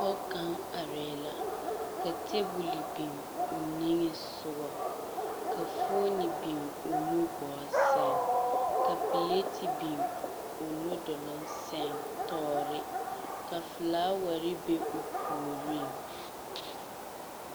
Pͻge kaŋa arԑԑ la ka teebole biŋ o niŋe sogͻ, ka fooni biŋ o nugͻͻ sԑŋ, ka pileti biŋ o nu doloŋ sԑŋ tͻͻre. ka filaaware be o puoriŋ.